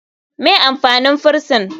Me amfanin frison?